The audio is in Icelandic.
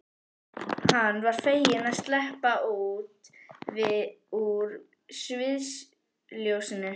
Hann var feginn að sleppa út úr sviðsljósinu.